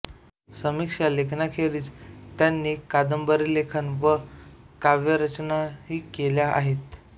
समीक्षा लेखनाखेरीज त्यांनी कादंबरीलेखन व काव्यरचनाही केल्या आहेत